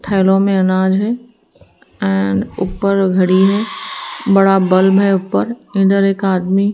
थैलों में अनाज है। एंड ऊपर घड़ी है। बड़ा बल्ब है ऊपर यहाँ एक आदमी --